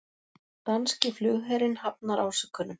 Danski flugherinn hafnar ásökunum